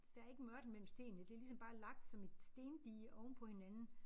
Der ikke mørtel mellem stenene det ligesom bare lagt som et stendige ovenpå hinanden